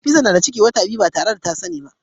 Nefisat na da ciki wata biyar ba tare da ta sani ba